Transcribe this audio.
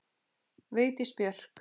Vigdís Björk.